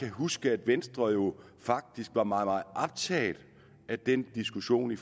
huske at venstre jo faktisk var meget meget optaget af den diskussion i